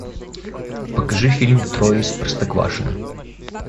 покажи фильм трое из простоквашино